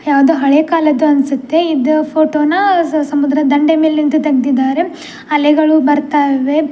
ಯಾವ್ದೋ ಹಳೇ ಕಾಲದ್ದು ಅನ್ಸುತ್ತೆ ಇದು ಫೋಟೊನ ಸಮುದ್ರ ದಂಡೆ ಮೇಲಿಂದ ತೆಗ್ದಿದಾರೆ. ಅಲೆಗಳು ಬರ್ತಾ ಇವೆ.